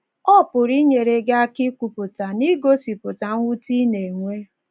Ọ pụrụ inyere gị aka ikwupụta na igosipụta mwute ị na - enwe